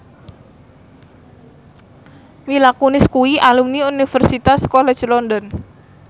Mila Kunis kuwi alumni Universitas College London